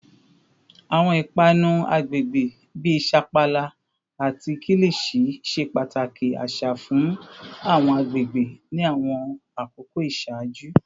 Awọn ipanu agbegbe bi sapala ati kilichi ṣe pataki aṣa fun awọn agbegbe ni awọn akoko iṣaaju